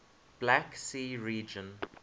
black sea region